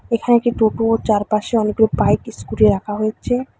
এখানে একটি টোটো চারপাশে অনেকগুলো বাইক স্কুটি রাখা হয়েছে।